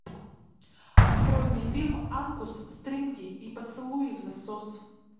открой мне фильм ангус стринги и поцелуи взасос